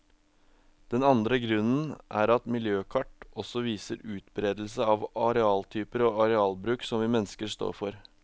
Den andre grunnen er at miljøkart også viser utberedelsen av arealtyper og arealbruk som vi mennesker står for.